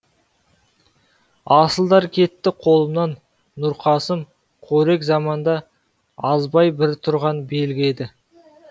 асылдар кетті қолымнан нұрқасым қорек заманда азбай бір тұрған белгі еді